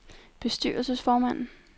bestyrelsesformand